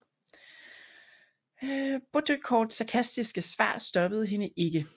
Baudricourts sarkastiske svar stoppede hende ikke